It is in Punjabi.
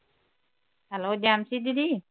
hello ਜੈਮਸੀ ਦੀਦੀ